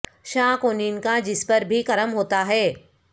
شاہ کونین کا جس پر بھی کرم ہوتا ہے